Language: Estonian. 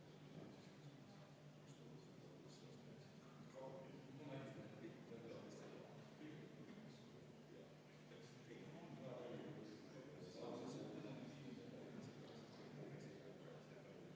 Seda peetakse Maksu- ja Tolliametile ning Tööinspektsioonile seadusega pandud ülesannete täitmiseks, et tagada Politsei- ja Piirivalveameti poolt välismaalaste Eestis ajutise viibimise, elamise ja töötamise üle riikliku järelevalve teostamine.